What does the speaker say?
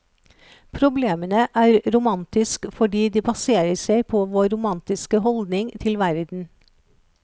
Problemene er romantisk fordi de baserer seg på vår romantiske holdning til verden.